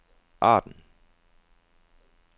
Arden